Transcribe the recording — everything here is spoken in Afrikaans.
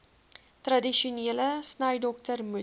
tradisionele snydokter moet